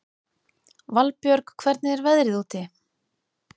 Valbjörg, hvernig er veðrið úti?